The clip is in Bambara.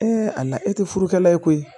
a la e tɛ furukɛla ye koyi